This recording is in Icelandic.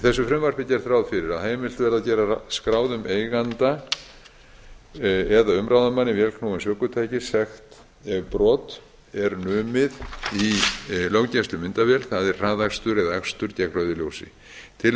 frumvarpinu er gert ráð fyrir að heimilt verði að gera skráðum eiganda eða umráðamanni vélknúins ökutækis að greiða sekt ef brot er numið í löggæslumyndavél það er hraðakstur eða akstur gegn rauðu ljósi tillagan